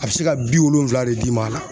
A bɛ se ka bi wolonfila de d'i ma a la.